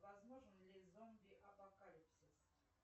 возможен ли зомби апокалипсис